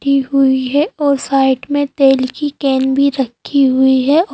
हुई हैं और साइड में तेल की कॅन भीं रखीं हुई हैं।